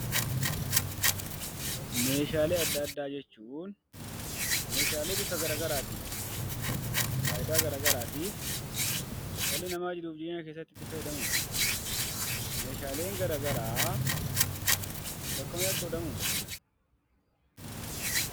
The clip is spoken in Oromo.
Meeshaalee adda addaa jechuun meeshaalee bifa garaa garaatiin faayidaa garaa garaatiif dhalli namaa jiruuf jireenya keessatti itti fayyadamudha. Meeshaaleen garaa garaa bakka meeqatti qoodamuu?